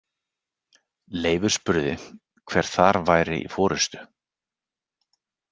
Leifur spurði hver þar væri í forystu.